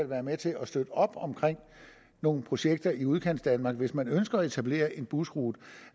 være med til at støtte op omkring nogle projekter i udkantsdanmark hvis man ønsker at etablere en busrute